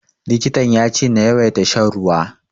Likitan ya ce na yawaita shan ruwa.